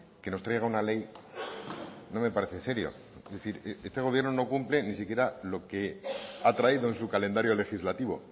que nos traiga una ley no me parece serio es decir este gobierno no cumple ni siquiera lo que ha traído en su calendario legislativo